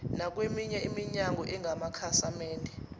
nakweminye iminyango engamakhasimende